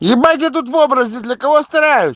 ебать я тут в образе для кого стараюсь